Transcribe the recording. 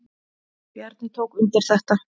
Bjarni tók undir þetta.